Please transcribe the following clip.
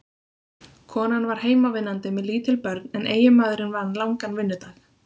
Konan var heimavinnandi með lítil börn en eiginmaðurinn vann langan vinnudag.